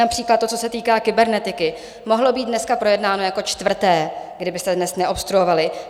Například to, co se týká kybernetiky, mohlo být dneska projednáno jako čtvrté, kdybyste dnes neobstruovali.